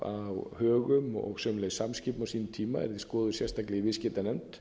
arionbanka á högum og sömuleiðis samskipum á sínum tíma yrði skoðuð sérstaklega í viðskiptanefnd